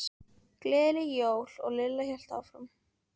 Gleðileg jól. og Lilla hélt áfram.